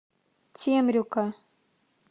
темрюка